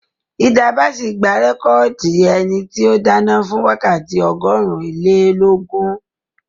Hilda Basi gba rẹ́kọ̀dì ẹni tí ó dáná fún wákàtí ọgọ́rùn-ún-ilé-lógún